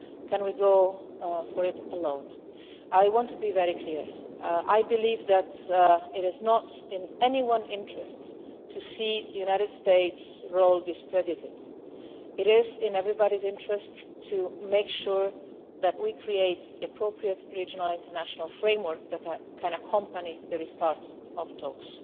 Can we go forward alone? I want to be very clear I believe that it is not in anyone's interests to see the United States' role discredited. It is in everybody's interest to make sure that we create the appropriate regional international framework that can accompany the restart of talks.